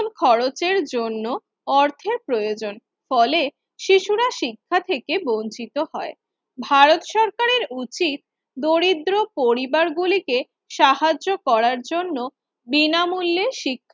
খরচের জন্য অর্থের প্রয়োজন, ফলে শিশুরা শিক্ষা থেকে বঞ্চিত হয়। ভারত সরকারের উচিত দরিদ্র পরিবারগুলিকে সাহায্য করার জন্য বিনামূল্যে শি